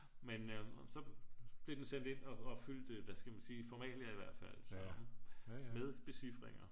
men så blev den sendt ind og fyldte hvad skal man sige formalia i hvert fald med becifringer